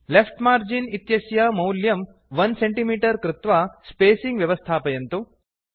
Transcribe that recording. left margin इत्यस्य मैल्यं 1 centimetre कृत्वा स्पेसिंग् व्यवस्थापयन्तु